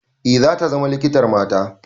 Eh, zata zama likitar mata.